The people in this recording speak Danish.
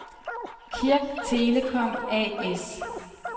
Kirk Telecom A/S